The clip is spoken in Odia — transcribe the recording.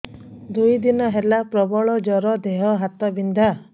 ଦୁଇ ଦିନ ହେଲା ପ୍ରବଳ ଜର ଦେହ ହାତ ବିନ୍ଧା